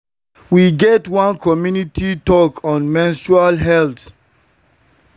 we get one community talk on menstrual health and hygiene and everybody gain better tips.